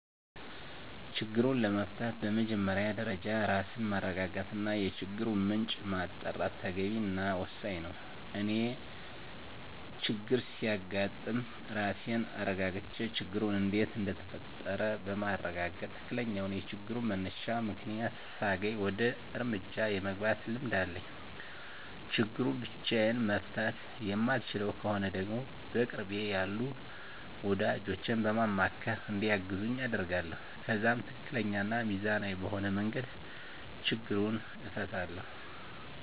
ችግሩን ለመፍታት በመጀመሪያ ደረጃ ራስን ማረጋጋት እና የችግሩን ምንጭ ማጣራት ተገቢ እና ወሳኝ ነው። እኔ ችግር ሲያጋጥም ራሴን አረጋግቼ ችግሩ እንዴት እንደተፈጠረ በማረጋገጥ ትክክለኛውን የችግሩን መነሻ ምክንያት ሳገኝ ወደ እርምጃ የመግባት ልምድ አለኝ። ችግሩን ብቻየን መፍታት የማልችለው ከሆነ ደግሞ በቅርቤ ያሉ ወዳጆቼን በማማካር እንዲያግዙኝ አደርጋለሁ። ከዛም ትክክለኛ እና ሚዛናዊ በሆነ መንገድ ችግሩን እፈታለሁ።